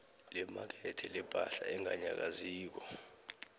lemakethe lepahla enganyakaziko